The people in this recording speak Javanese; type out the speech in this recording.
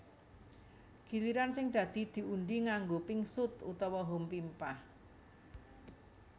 Giliran sing dadi diundhi nganggo pingsut utawa hompimpah